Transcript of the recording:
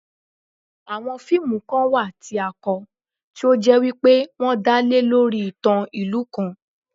Àwon fíìmù kan wà tí a kọ, tí ó jẹ́ wípé wọ́n dá lé lórí ìtàn ìlú kan